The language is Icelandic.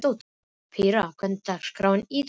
Pría, hvernig er dagskráin í dag?